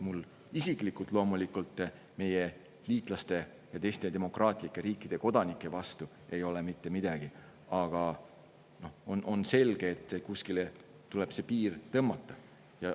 Mul isiklikult ei ole meie liitlaste ja teiste demokraatlike riikide kodanike vastu loomulikult mitte midagi, aga on selge, et kuskile tuleb see piir tõmmata.